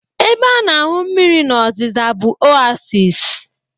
Ebe a na-ahụ mmiri n'ozara bụ Oasis